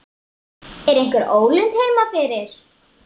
Er einhver ólund heima fyrir?